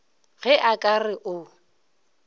ge a ka re o